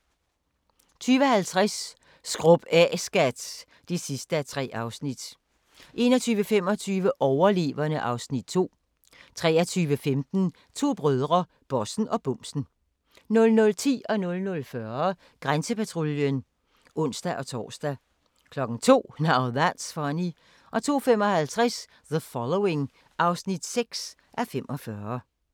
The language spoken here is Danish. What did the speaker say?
20:00: Vores vilde verden (3:3) 20:50: Skrub af, skat (3:3) 21:25: Overleverne (Afs. 2) 23:15: To brødre - bossen og bumsen 00:10: Grænsepatruljen (ons-tor) 00:40: Grænsepatruljen (ons-tor) 02:00: Now That's Funny 02:55: The Following (6:45)